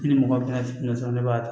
I ni mɔgɔ bɛna tuna sɔrɔ ne b'a ta